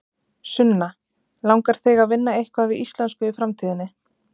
Sunna: Langar þig að vinna eitthvað við íslensku í framtíðinni?